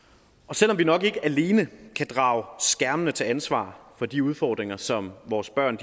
selv om vi nok ikke alene kan drage skærmene til ansvar for de udfordringer som vores børn